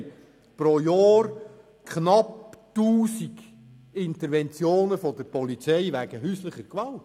Pro Jahr haben wir knapp 1000 Interventionen der Polizei wegen häuslicher Gewalt.